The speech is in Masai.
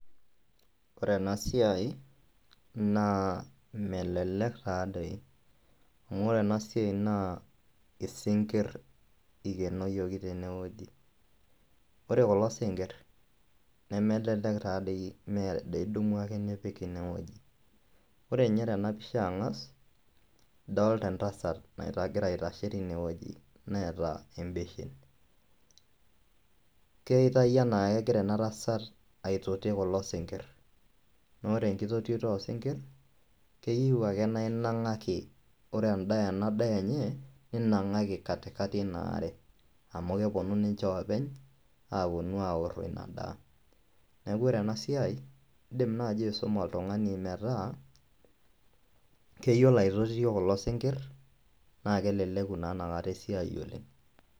Ore ena siai naa melelek taadoi amu ore ena siai naa isinkir ikenoyioki tene wueji, ore kulo sinkir nemelelek taa doi mee doi idumu ake nipik ine wueji. Ore nye tena pisha ang'as idolta entasat naita egira aitashe tine wueji neeta embeshen, keitai enaa kegira ena tasat aitoti kulo sinkir amu ore enkitotioto oo sinkir keyiu naa inang'aki ore endaa ena daa enye ninang'aki katikati ina are amu kepuno ninje oopeny aaponu aworo ina daa. Neeku ore ena siai indim naaji aisuma oltung'ani metaa keyiolo aitotio kulo sinkir naa keleleku naa ina kata esiai oleng'.